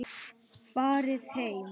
Farið heim!